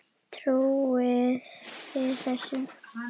Trúið þið þessu?